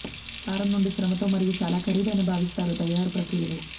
సారం నుండి శ్రమతో మరియు చాలా ఖరీదైన భావిస్తారు తయారు ప్రక్రియలో